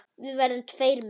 Við verðum tveir með ykkur.